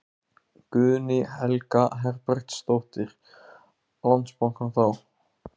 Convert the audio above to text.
Guðný Helga Herbertsdóttir: Landsbankann þá?